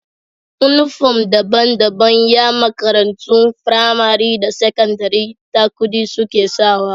Inufom daban daban Yan makarantun pramari da sakandari ta kudi suke sawa